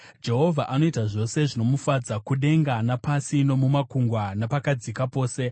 Jehovha anoita zvose zvinomufadza, kudenga napasi, nomumakungwa napakadzika pose.